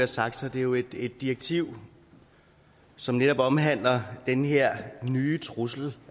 sagt er det jo et direktiv som netop omhandler den her nye trussel